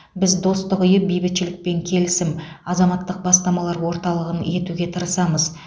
біз достық үйін бейбітшілік пен келісім азаматтық бастамалар орталығы етуге тырысамыз